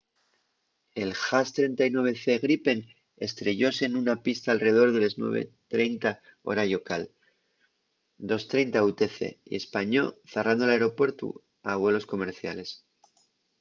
el jas 39c gripen estrellóse nuna pista alredor de les 9:30 hora llocal 0230 utc y españó zarrando l’aeropuertu a vuelos comerciales